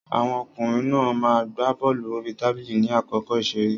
Àwọn ọkùnrin náà ma gbá bọ́lù orí tábìlì ní àkókò ìṣeré.